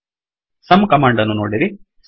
sum command ಅನ್ನು ನೋಡಿರಿ